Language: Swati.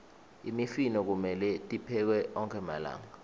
imifino kumelwe tiphekwe onkhe malanga